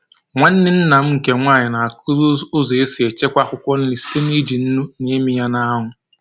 Nwanne nna m nke nwanyị na-akụzi ụzọ e si echekwa akwụkwọ nri site n'iji nnu na ịmị ya n'anwụ